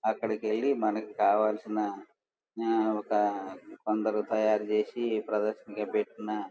అక్కడికెళ్లి మనకి కావాల్సిన న-ఒక కొందరు తయారుచేసి ప్రదర్శన పెట్టిన --